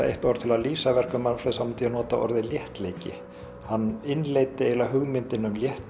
eitt orð til að lýsa verkum Manfreðs þá myndi ég nota orðið léttleiki hann innleiddi eiginlega hugmyndina um